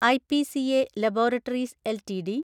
IPCA laboratories LTD